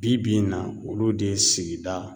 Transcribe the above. Bi bi in na olu de ye sigida